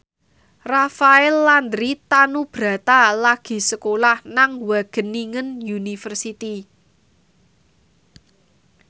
Rafael Landry Tanubrata lagi sekolah nang Wageningen University